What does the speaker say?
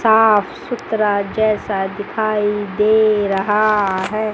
साफ सुथरा जैसा दिखाई दे रहा है।